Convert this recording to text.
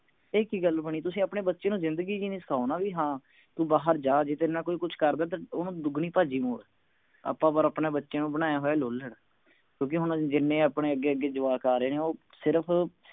ਇਹ ਕਿ ਗੱਲ ਬਣੀ ਤੁਸੀਂ ਆਪਣੇ ਬੱਚੇ ਨੂੰ ਜਿੰਦਗੀ ਜੀਨੀ ਸਿਖਾਓ ਨਾ ਵੀ ਹਾਂ ਤੂੰ ਬਾਹਰ ਜਾ ਜੇ ਤੇਰੇ ਨਾਲ ਕੋਈ ਕਰਦੇ ਤਾ ਓਹਨੂੰ ਦੁਗਣੀ ਭਾਜੀ ਮੋੜ ਆਪਾਂ ਪਰ ਆਪਣੇ ਬੱਚਿਆਂ ਨੂੰ ਬਣਾਇਆ ਹੋਇਆ ਲੋਲੜ ਕਿਓਂਕਿ ਹੁਣ ਜਿੰਨੇ ਆਪਣੇ ਅੱਗੇ ਅੱਗੇ ਜਵਾਕ ਆ ਰਹੇ ਨੇ ਉਹ ਸਿਰਫ